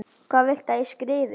Hvað viltu að ég skrifi?